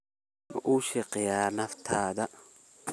Ma u shaqeysaa naftaada?